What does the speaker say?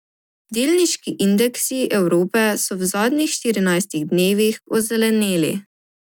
Delniški indeksi Evrope so v zadnjih štirinajstih dnevih ozeleneli.